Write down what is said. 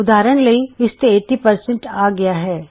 ਉਦਾਹਰਣ ਵਜੋਂ ਇਸ ਤੇ 80 ਪ੍ਰਤੀਸ਼ਤ ਆ ਰਹਿਆ ਹੈ